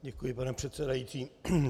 Děkuji, pane předsedající.